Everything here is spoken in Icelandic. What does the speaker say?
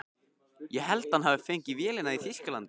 Ég held að hann hafi fengið vélina í Þýskalandi.